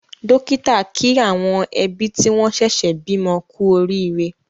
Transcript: Dọ́kítà kí àwọn ẹbí tí wọ́n ṣẹ̀ṣẹ̀ bímọ kú oríire.